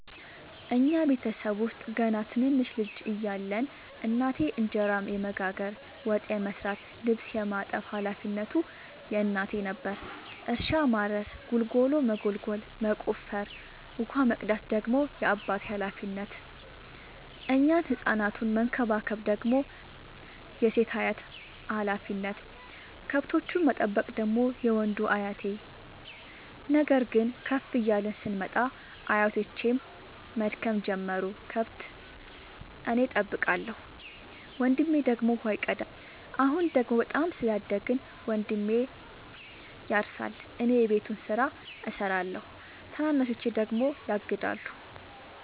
እኛ ቤተሰብ ውስጥ ገና ትንንሽ ልጅ እያለን እናቴ እንጀራ የመጋገር፤ ወጥ የመስራት ልብስ የማጠብ ሀላፊነቱ የእናቴ ነበረ። እርሻ ማረስ ጉልጎሎ መጎልጎል መቆፈር፣ ውሃ መቅዳት ደግሞ የአባቴ ሀላፊነት፤ እኛን ህፃናቱን መከባከብ ደግሞ የሴት አያቴ ሀላፊነት፣ ከብቶቹን መጠበቅ ደግሞ የወንዱ አያቴ። ነገር ግን ከፍ እያልን ስንመጣ አያቶቼም መድከም ጀመሩ ከብት እኔ ጠብቃለሁ። ወንድሜ ደግሞ ውሃ ይቀዳል። አሁን ደግሞ በጣም ስላደግን መንድሜ ያርሳ እኔ የቤቱን ስራ እሰራለሁ ታናናሾቼ ደግሞ ያግዳሉ።